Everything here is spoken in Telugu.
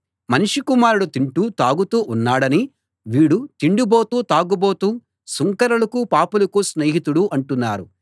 మనుష్య కుమారుడు తింటూ తాగుతూ ఉన్నాడని వీడు తిండిబోతూ తాగుబోతూ సుంకరులకూ పాపులకూ స్నేహితుడు అంటున్నారు